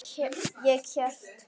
Ég hélt.